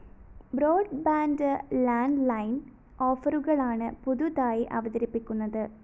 broadband landline ഓഫറുകളാണ് പുതുതായി അവതരിപ്പിക്കുന്നത്